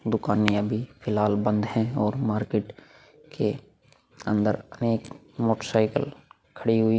दुकाने अभी फिलहाल बंद है और मार्केट के अंदर एक मोटर सायकल खड़ी हुई--